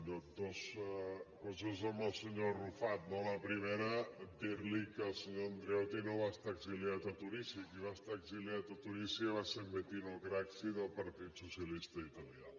dues coses al senyor arrufat no la primera dir li que el senyor andreotti no va estar exiliat a tunísia qui va estar exiliat a tunísia va ser en bettino craxi del partit socialista italià